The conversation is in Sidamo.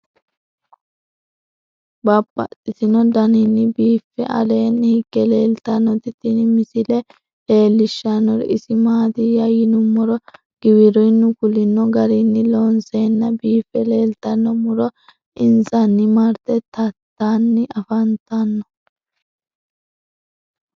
Babaxxittinno daninni biiffe aleenni hige leelittannotti tinni misile lelishshanori isi maattiya yinummoro giwirinnu kulinno garinni loonseenna biiffe leelittanno muro insanni maritte taattanni affanttanno.